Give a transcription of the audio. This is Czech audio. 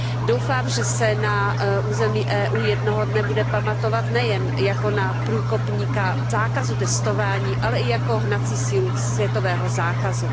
Doufám, že se na území EU jednoho dne bude pamatovat nejen jako na průkopníka zákazu testování, ale i jako hnací sílu světového zákazu.